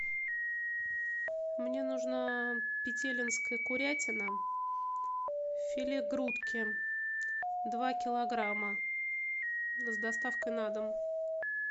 мне нужна петелинская курятина филе грудки два килограмма с доставкой на дом